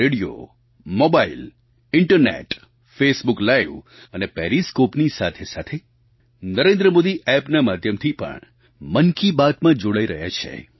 radio mobile internet Facebook live અને પેરિસ્કૉપની સાથેસાથે નરેન્દ્ર મોદી એપના માધ્યમથી પણ મન કી બાતમાં જોડાઈ રહ્યા છે